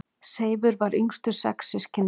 Seifur var yngstur sex systkina.